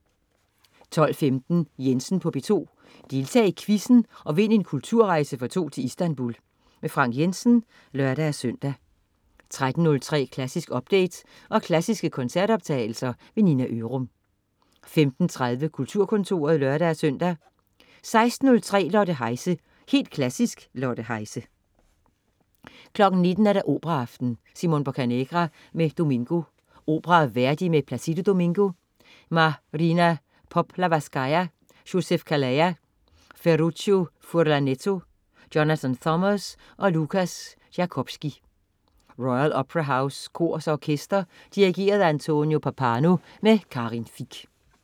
12.15 Jensen på P2. Deltag i quizzen og vind en kulturrejse for to til Istanbul. Frank Jensen (lør-søn) 13.03 Klassisk update, og klassiske koncertoptagelser. Nina Ørum 15.30 Kulturkontoret (lør-søn) 16.03 Lotte Heise. Helt Klassisk. Lotte Heise 19.00 Operaaften. Simon Boccanegra med Domingo. Opera af Verdi med Plácido Domingo, Marina Poplavskaya, Joseph Calleja, Ferruccio Furlanetto, Jonathan Summers og Lukas Jakobski. Royal Opera House Kor og Orkester. Dirigent: Antonio Pappano. Karin Fich